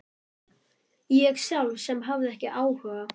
Ég sjálf sem hafði ekki áhuga.